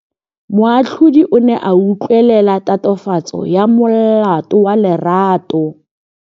Moatlhodi o ne a utlwelela tatofatsô ya molato wa Lerato.